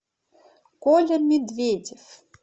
коля медведев